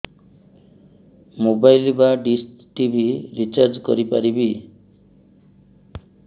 mobile ବା dish TV recharge କରି ପାରିବି